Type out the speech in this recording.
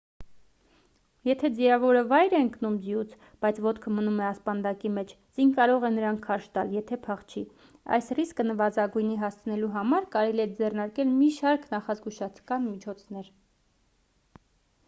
եթե ձիավորը վայր է ընկում ձիուց բայց ոտքը մնում է ասպանդակի մեջ ձին կարող է նրան քարշ տալ եթե փախչի այս ռիսկը նվազագույնի հասցնելու համար կարելի է ձեռնարկել մի շարք նախազգուշական միջոցներ